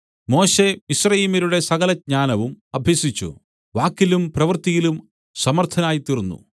മോശെ മിസ്രയീമ്യരുടെ സകല ജ്ഞാനവും അഭ്യസിച്ചു വാക്കിലും പ്രവൃത്തിയിലും സമർത്ഥനായിത്തീർന്നു